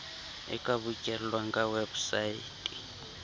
e ka bokellwang ka weposaete